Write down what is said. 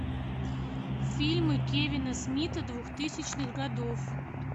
фильмы кевина смита двухтысячных годов